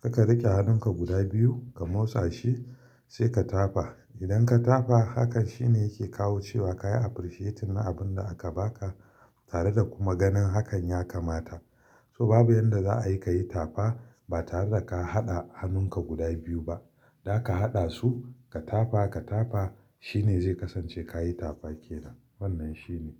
Kaka rike hannunka guda biyu ka motsa shi sai ka tafa. Idan ka tafa hakan shine yake kawo cewa ka appreciate na abun da aka baka tare da kuma ganin hakan ya kamata. So babu yanda za a yi ka yi tafa ba tare da ka haɗa hannunka guda biyu ba. Da ka haɗa su ka tafa, ka tafa shine zai kasance ka yi tafakena. Wannan shine.